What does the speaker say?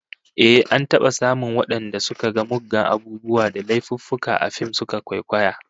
Ehh, an taba samun wadanda suka ga muggan abubuwa da laifuffuka a fim suka kwaikwaya